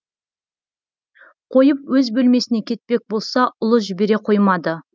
қойып өз бөлмесіне кетпек болса ұлы жібере қоймады